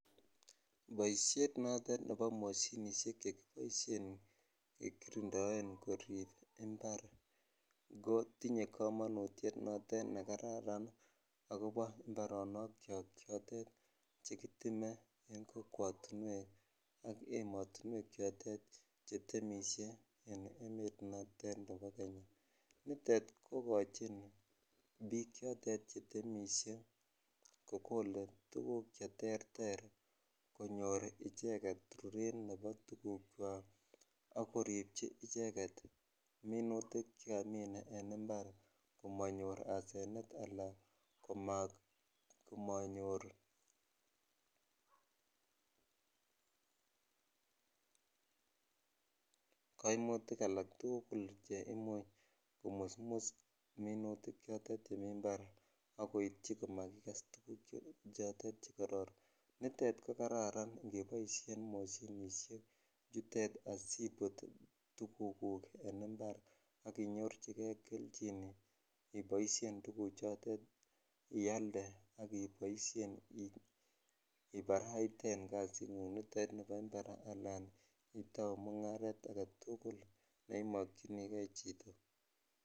Boishet notet nebo moshinishek chekiboishen kekirindoen korib imbar kotinye komonutiet notet nekaran akobo imbaronokiok chekiteme en kokwotinwek ak emotinwek chotet chetemishe en emet notet nebo Kenya, nitet kokochin biik chotet chetemishe kokole tukku cheterter konyor icheket ruret nebo tukukwak ak koribchi icheket minutik chekamin en imbar komonyor asenet alaan komonyor koimutik alak tukul cheimuch komusmus minutik chemi mbar ak koityi komakikes tukuk chotet chekororon, nitet ko kararan ingeboishen moshinishek chutet asibut tukuk en imbar ak inyorchike kelchin iboishen tukuchotet ialde ak iboishen ibaraiten kasingung nitet nibo imbar alan itouu mungaret aketukul neimokyinike chito.